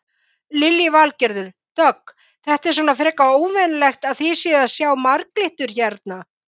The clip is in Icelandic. Lillý Valgerður: Dögg þetta er svona frekar óvenjulegt að þið séuð að sjá marglyttur hérna?